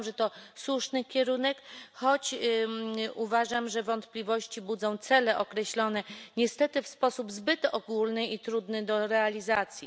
Uważam, że to słuszny kierunek, choć uważam, że wątpliwości budzą cele określone niestety w sposób zbyt ogólny i trudny do realizacji.